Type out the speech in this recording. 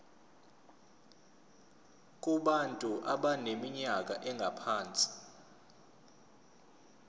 kubantu abaneminyaka engaphansi